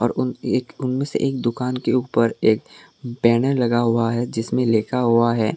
उन एक उनमें से एक दुकान के ऊपर एक बैनर लगा हुआ है जिसमें लिखा हुआ है।